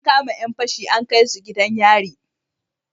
An kama Yan fashi an kaisu gidan yari